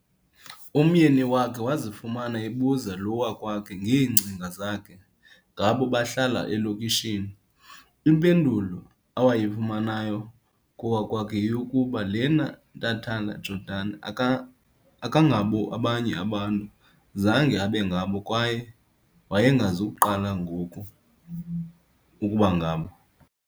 Umyeni wakhe wazifumana ebuza lo wakwakhe ngeengcinga zakhe ngabo bahlala elokishini, impendulo awayifumanayo kowakwakhe yeyokuba, yena Ntantala-Jordan akangabo abanye abantu, zange abengabo kwaye wayengazuqala ngoku ukubangabo.